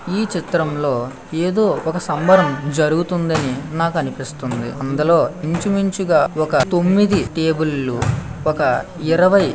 ఈ చిత్రంలో ఏదో ఒక సంబరం జరుగుతుంది అని నాకు అనిపిస్తుంది. అందులో ఇంచుమించుగా ఒక తొమ్మిది టేబుల్ లు ఒక ఒక ఇరవై --